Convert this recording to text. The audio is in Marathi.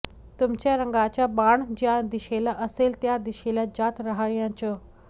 तुमच्या रंगाचा बाण ज्या दिशेला असेल त्या दिशेला जात राहायचं